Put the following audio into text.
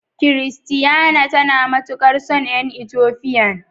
Christiana tana matukar son yan "ethiopian".